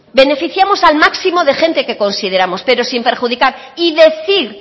beneficiamos al máximo de gente que consideramos pero sin perjudicar y decir